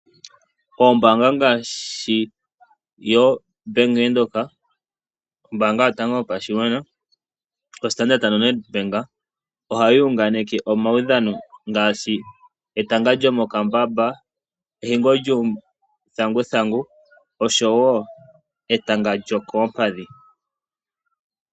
Oombaanga ngaashi yoBank Windhoek , ombaanga yotango yopashigwana, oStandard Bank , moNedBank ohayi unganeke omaudhano ngaashi etanga lyomokambamba ehingo lyuuthanguthangu oshowoo etanga lyokoompadhi.